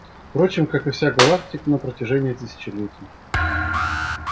впрочем как и вся галактика на протяжении тысячелетий